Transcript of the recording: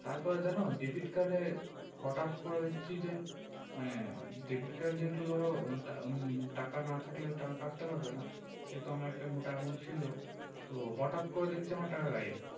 তারপর যেন debit card এ হটাৎ করে দেখছি যে মানে debit card যেহেতু ধরো উম টাকা না থাকলে টাকা কাটতে পারবে না সেহেতু আমার একটা মোটা amount ছিল তো হটাৎ করে দেখছি আমার টাকা গায়েব